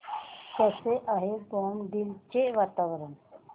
कसे आहे बॉमडिला चे वातावरण